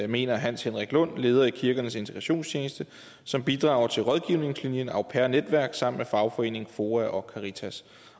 mener hans henrik lund leder i kirkernes integrations tjeneste som bidrager til rådgivningslinjen au pair network sammen med fagforeningen foa og caritas